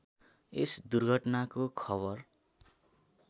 यस दुर्घटनाको खबर